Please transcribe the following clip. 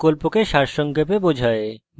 এটি প্রকল্পকে সারসংক্ষেপে বোঝায়